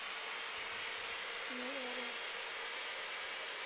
Nú eru